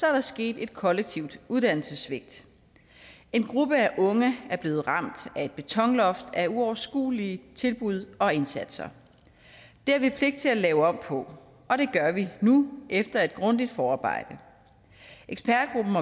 er der sket et kollektivt uddannelsessvigt en gruppe af unge er blevet ramt af et betonloft af uoverskuelige tilbud og indsatser det har vi pligt til at lave om på og det gør vi nu efter et grundigt forarbejde ekspertgruppen